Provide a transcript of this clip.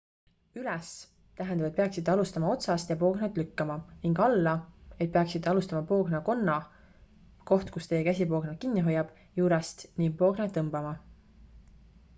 """üles" tähendab et peaksite alustama otsast ja poognat lükkama ning "alla" et peaksite alustama poogna konna koht kust teie käsi poognat kinni hoiab juurest ning poognat tõmbama.